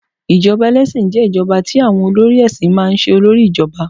ijoba ẹlẹsin je ijoba ti awọn olórí èsìn ma n se olori ijoba